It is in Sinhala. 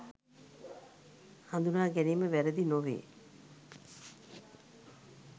හඳුනා ගැනීම වැරදි නොවේ